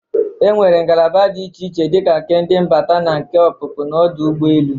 E nwere ngalaba dị iche iche dịka nke ndị mbata na nke ọpụpụ n'ọdụ ụgbọelu.